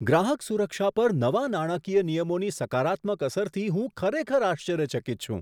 ગ્રાહક સુરક્ષા પર નવા નાણાકીય નિયમોની સકારાત્મક અસરથી હું ખરેખર આશ્ચર્યચકિત છું.